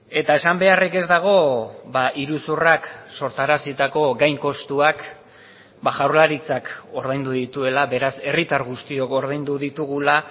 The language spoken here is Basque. eta esan beharrik ez dago iruzurrak sortarazitako gain kostuak jaurlaritzak ordaindu dituela beraz herritar guztiok ordaindu ditugula